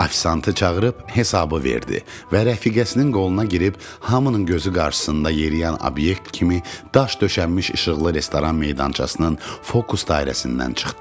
Ofisiantı çağırıb hesabı verdi və rəfiqəsinin qoluna girib hamının gözü qarsısında yeriyən obyekt kimi daş döşənmiş işıqlı restoran meydançasının fokus dairəsindən çıxdı.